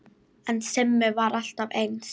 En Simmi var alltaf eins.